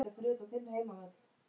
Vonandi gengur það eftir.